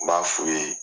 N b'a f'u ye